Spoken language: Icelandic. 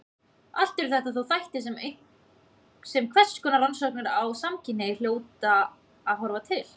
Allt eru þetta þó þættir sem hverskonar rannsóknir á samkynhneigð hljóta að horfa til.